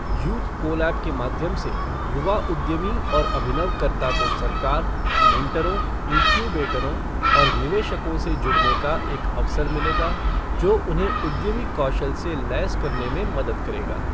Youth colab के माध्यम से युवा उद्यमी और अभिनवकर्ता को सरकार, मेंटरों, इन्क्यूबेटरों और निवेशकों से जुड़ने का एक अवसर मिलेगा, जो उन्हें उद्यमी कौशल से लैस करने में मदद करेगा।